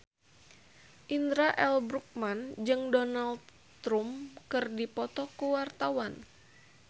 Indra L. Bruggman jeung Donald Trump keur dipoto ku wartawan